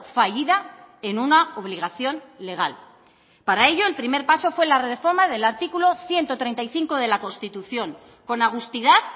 fallida en una obligación legal para ello el primer paso fue la reforma del artículo ciento treinta y cinco de la constitución con agustidad